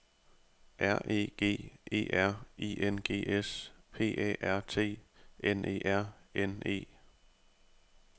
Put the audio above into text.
R E G E R I N G S P A R T N E R N E